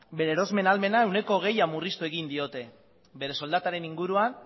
bere erosmen ahalmena ehuneko hogeia murriztu egin diote bere soldataren inguruan